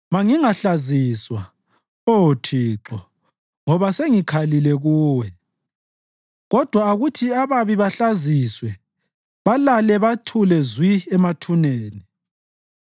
Mangingahlaziswa, Oh Thixo, ngoba sengikhalile Kuwe; kodwa akuthi ababi bahlaziswe balale bathule zwi ethuneni.